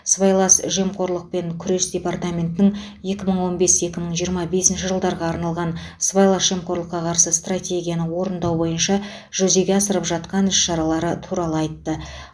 сыбайлас жемқорлықпен күрес департаментінің екі мың он бес екі мың жиырма бесінші жылдарға арналған сыбайлас жемқорлыққа қарсы стратегияны орындау бойынша жүзеге асырып жатқан іс шаралары туралы айтты